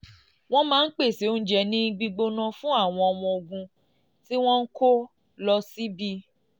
wọ́n máa ń pèsè oúnjẹ gbígbóná fún àwọn ọmọ ogun tí wọ́n ń kó lọ síbi